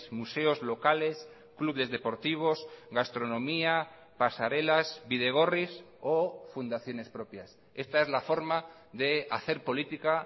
museos locales clubes deportivos gastronomía pasarelas bidegorris o fundaciones propias esta es la forma de hacer política